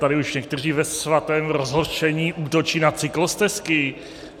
Tady už někteří ve svatém rozhořčení útočí na cyklostezky.